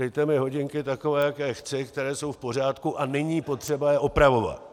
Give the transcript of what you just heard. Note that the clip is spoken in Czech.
Dejte mi hodinky takové, jaké chci, které jsou v pořádku, a není potřeba je opravovat."